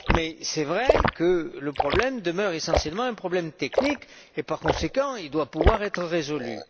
Mais c'est vrai que le problème demeure essentiellement un problème technique et qu'il doit par conséquent pouvoir être résolu.